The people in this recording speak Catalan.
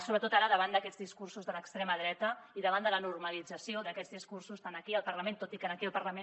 sobretot ara davant d’aquests discursos de l’extrema dreta i davant de la normalització d’aquests discursos tant aquí al parlament tot i que aquí al parlament